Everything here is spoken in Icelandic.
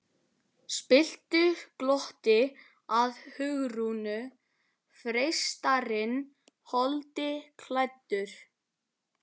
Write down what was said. spilltu glotti að Hugrúnu, freistarinn holdi klæddur.